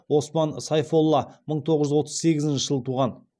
оспан сейфолла мың тоғыз жүз отыз сегізінші жылы туған